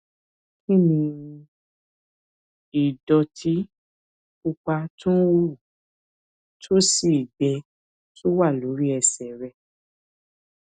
kí ni ìdòtí pupa tó ń hù tó sì ń gbẹ tó wà lórí ẹsè rẹ